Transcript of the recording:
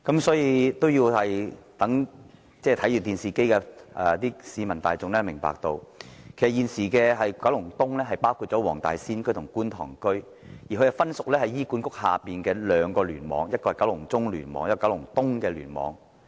所以，我希望正在看電視直播的市民大眾明白，現時的九龍東包括黃大仙區和觀塘區，而這兩個地區則分屬醫院管理局轄下的兩個聯網，分別是九龍中聯網和九龍東聯網。